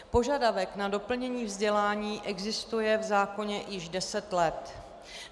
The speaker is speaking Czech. Požadavek na doplnění vzdělání existuje v zákoně již deset let.